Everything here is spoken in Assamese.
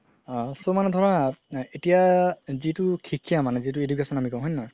আ so মানে ধৰা এতিয়া যিতো শিক্ষা মানে যিতো আমি education বুলি কও হয় নে নহয়